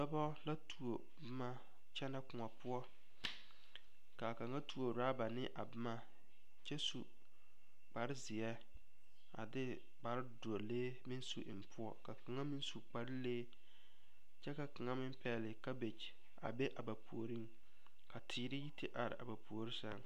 Dɔba la tuo boma kyɛnɛ koɔ poɔ k,a kaŋa tuo orɔba ne a boma kyɛ su kparezeɛ a de kparedɔlee meŋ su eŋ poɔ ka kaŋa meŋ su kparelee kyɛ ka kaŋa meŋ pɛgle kabege a be a ba puoriŋ ka teere yi te are a ba puori seŋ.